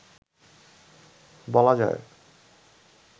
বলা যায়